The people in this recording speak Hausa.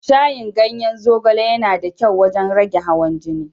Shayin ganyen zogale yana da kyau wajen rage hawan jini.